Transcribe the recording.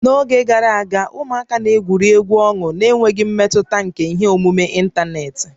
N'oge gara aga, ụmụaka na-egwuri egwu ọnụ n'enweghị mmetụta nke ihe omume ịntanetị